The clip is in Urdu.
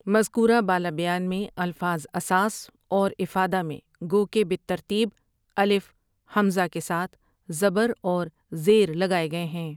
مذکورہ بالا بیان میں الفاظ أَساس اور إِفَادَە میں گو کہ بالترتیب الف ہمزہ کے ساتھ زبر اور زیر لگائے گئے ہیں ۔